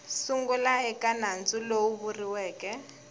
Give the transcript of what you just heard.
sungula eka nandzu lowu vuriweke